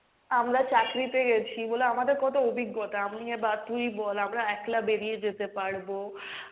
আমরা চাকরি তে গেছি বলে আমাদের কত অভিজ্ঞতা, আমি বা তুই বল আমরা একলা বেরিয়ে যেতে পারবো,